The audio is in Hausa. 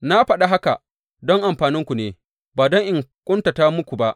Na faɗa haka don amfaninku ne, ba don in ƙuntata muku ba.